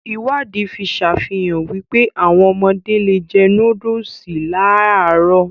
Ìwádìí fi sàfihàn wípé, áwọn ọmọdé le è jẹ nóódùsì láàlárọ̀